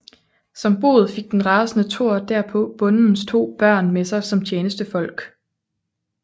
Som bod fik den rasende Thor derpå bondens to børn med sig som tjenestefolk